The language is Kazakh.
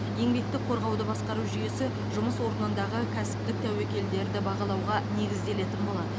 еңбекті қорғауды басқару жүйесі жұмыс орнындағы кәсіптік тәуекелдерді бағалауға негізделетін болады